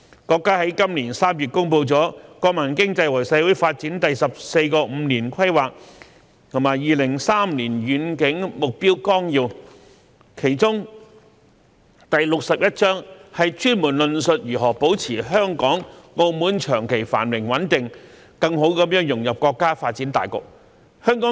國家在今年3月公布了《國民經濟和社會發展第十四個五年規劃和2035年遠景目標綱要》，其中第六十一章專門論述如何保持香港、澳門長期繁榮穩定，更好融入國家發展大局。